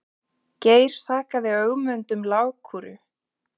Geir sakaði Ögmund um lágkúru.